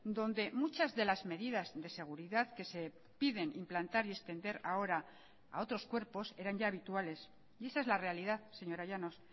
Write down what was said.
donde muchas de las medidas de seguridad que se piden implantar y extender ahora a otros cuerpos eran ya habituales y esa es la realidad señora llanos